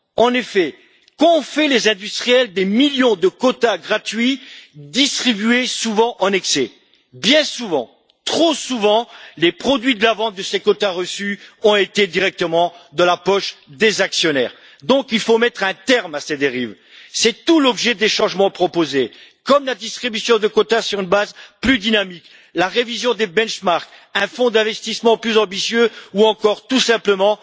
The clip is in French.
En effet, qu'ont fait les industriels des millions de quotas gratuits distribués souvent en excès? Bien souvent trop souvent les produits de la vente de ces quotas reçus ont été directement dans la poche des actionnaires. Il faut donc mettre un terme à ces dérives. C'est tout l'objet des changements proposés, comme la distribution de quotas sur une base plus dynamique, la révision des critères de référence, un fonds d'investissement plus ambitieux ou encore, tout simplement,